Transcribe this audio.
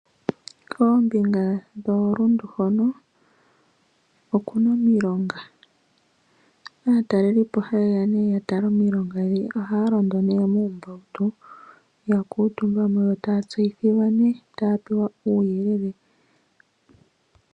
Koombinga dhooRundu hono oku na omilonga. Opu na aataleli po haye nee ya tale omilonga, yo ohaya londo nee muumbautu ya kuutumba mo yo taya tseyithilwa nee nokupewa uuyelele.